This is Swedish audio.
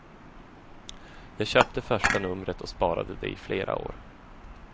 Jag köpte första numret och sparade det i flera år.